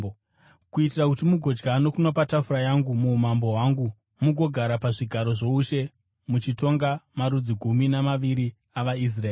kuitira kuti mugodya nokunwa patafura yangu muumambo hwangu, mugogara pazvigaro zvoushe, muchitonga marudzi gumi navaviri avaIsraeri.